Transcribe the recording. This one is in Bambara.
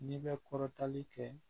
N'i bɛ kɔrɔtanli kɛ